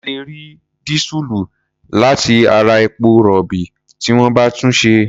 A lè rí dísùlù láti ara epo-rọ̀bì tí wọ́n bá túnṣe.